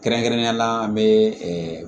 Kɛrɛnkɛrɛnnenya la an bɛ